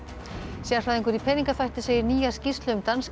sérfræðingur í peningaþvætti segir nýja skýrslu um